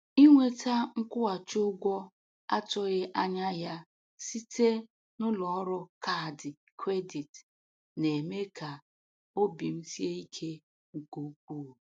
Inweta nkwụghachi ụgwọ a tụghị anya ya site n’ụlọ ọrụ kaadị kredit na-eme ka obi m sie ike nke ukwuu.